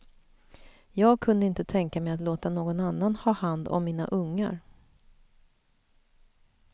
Jag kunde inte tänka mig att låta någon annan ha hand om mina ungar.